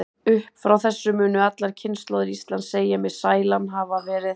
Upp frá þessu munu allar kynslóðir Íslands segja mig sælan hafa verið.